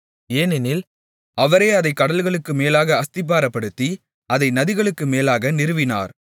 ஏனெனில் அவரே அதைக் கடல்களுக்கு மேலாக அஸ்திபாரப்படுத்தி அதை நதிகளுக்கு மேலாக நிறுவினார்